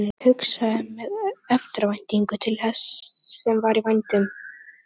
Hann hugsaði með eftirvæntingu til þess sem var í vændum.